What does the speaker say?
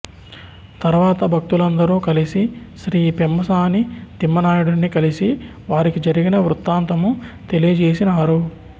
తర్వాత భక్తులందరూ కలిసి శ్రీ పెమ్మసాని తిమ్మనాయుడిని కలిసి వారికి జరిగిన వృత్తాంతము తెలియజేసినారు